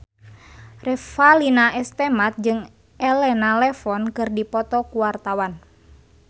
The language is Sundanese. Revalina S. Temat jeung Elena Levon keur dipoto ku wartawan